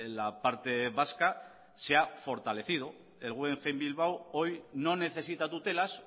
la parte vasca se ha fortalecido el guggenheim bilbao hoy no necesita tutelas